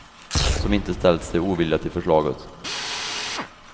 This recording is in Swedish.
Som inte ställt sig ovilliga till förslaget.